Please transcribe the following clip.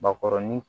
Bakɔrɔnin